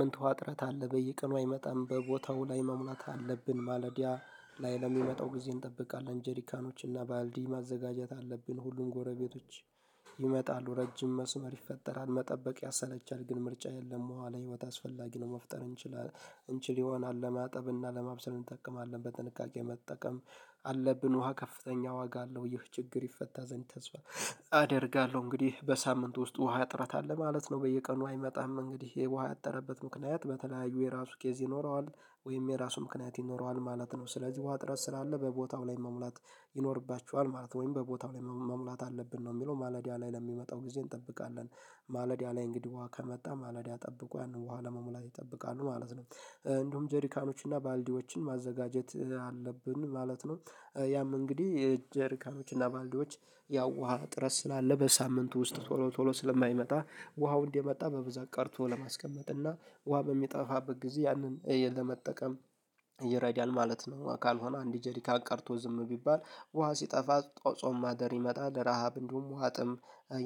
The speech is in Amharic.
ምንት ውሃ ጥረት አለ በየቀኑ አይመጣም በቦታው ላይ መሙላት አለብን ማለዲያ ላይ ለሚመጣው ጊዜ እንጠብቃለን ጀሪካኖች እና ባልዲ ማዘጋጀት አለብን ሁሉም ጎረቤቶች ይመጣሉ ረጅም መስመር ይፈጠራል መጠበቅ ያሰለቻል ግን ምርጫ የለም ውሃ ለህይወት አስፈላጊ ነው። መፍጠር እንችላለን እንችል ይሆናል ለማጠብ እና ለማብሰል እንጠቀማለን በጥንቃቄ መጠቀም አለብን። ውሃ ከፍተኛ ዋጋ አለው ይህ ችግር ይፈታ ዘንድ ተስፋ አደርጋለሁ። እንግዲህ በሳምንት ውስጥ ውሃ እጥረት አለ ማለት ነው። በየቀኑ አይመጣም እንግዲህ ውሃ ያጠረበት ምክንያት በተለያዩ የራሱ ኬዝ ይኖረዋል ወይም የራሱ ምክንያት ይኖረዋል ማለት ነው። ስለዚህ ውሃ እጥረት ስላለ በቦታው ላይ መሙላት ይኖርባችኋል ማለት ነው። ወይም በቦታው ላይ መሙላት አለብን ነው የሚለው ማለዳ ላይ ለሚመጣው ጊዜ እንጠብቃለን ማለዳ ላይ እንግዲህ ከመጣ ማለዳ ጠብቆ ያንን ውሃ ለመሙላት ይጠብቃሉ ማለት ነው። እንዲሁም ጄሪካኖች እና ባልዲዎችን ማዘጋጀት አለብን ማለት ነው። ያም እንግዲህ ጄርካኖችና ባልዲዎች ያው ውሃ እጥረት ስላለ በሳምንት ውስጥ ቶሎ ቶሎ ስለማይመጣ ውሃው እንዲመጣ በብዛት ቀድቶ ለማስቀመጥ እና ውሃ በሚጠፋበት ጊዜ ያንን ለመጠቀም ይረዳል ማለት ነው። ካልሆነ አንድ ጀሪካን ቀድቶ ዝም ቢባል ውሃ ሲጠፋ ጾም ማደር ይመጣል ረሃብ እንዲሁም ዉሃጥም